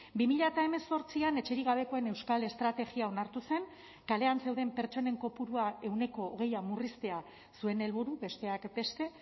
bi mila hemezortzian etxerik gabekoen euskal estrategia onartu zen kalean zeuden pertsonen kopurua ehuneko hogeia murriztea zuen helburu besteak beste